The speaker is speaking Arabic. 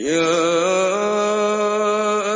يَا